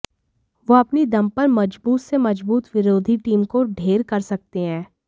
वे अपनी दम पर मज़बूत से मज़बूत विरोधी टीम को ढेर कर सकते हैं